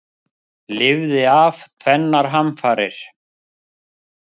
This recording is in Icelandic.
Lifði af tvennar hamfarir